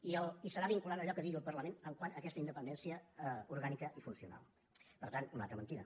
i serà vinculant allò que digui el parlament quant a aquesta independència orgànica i funcional per tant una altra mentida